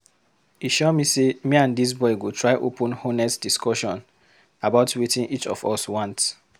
E sure me sey me and dis boy go try open honest discussion about wetin each of us want.